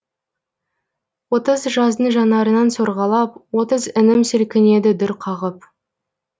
отыз жаздың жанарынан сорғалап отыз інім сілкінеді дүр қағып